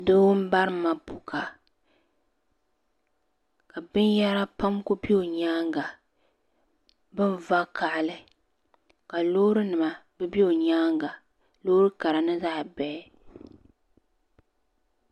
Too n bari mapuuka ka bin yara pam Ku bɛ o nyaanga bin vakahili ka loori nima be bɛ o nyaanga loori kara ni zaɣi bihi.